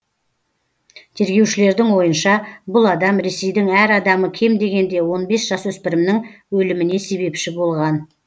тергеушілердің ойынша бұл адам ресейдің әр адамы кем дегенде он бес жасөспірімнің өліміне себепші болған